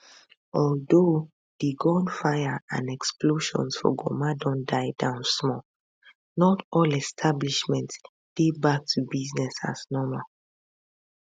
although di gunfire and explosions for goma don die down small not all establishments dey back to business as normal